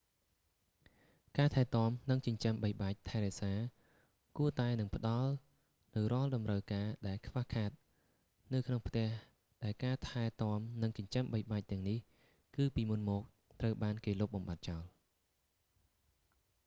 ការថែទាំនិងចិញ្ចឹមបីបាច់ថែរក្សាគួរតែនឹងផ្តល់នូវរាល់តម្រូវការដែលខ្វះខាតនៅក្នុងផ្ទះដែលការថែទាំនិងចិញ្ចឹមបីបាច់ទាំងនេះគឺពីមុនមកត្រូវបានគេលុបបំបាត់ចោល